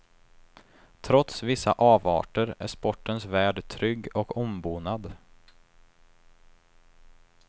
Trots vissa avarter är sportens värld trygg och ombonad.